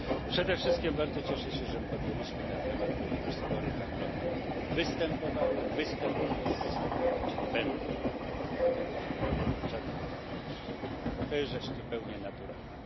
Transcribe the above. Przede wszystkim bardzo cieszę się, że podjęliśmy ten temat, ponieważ spory handlowe występowały, występują i występować będą, co do tego nie miejmy żadnych wątpliwości, to jest rzecz zupełnie naturalna.